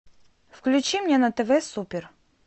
включи мне на тв супер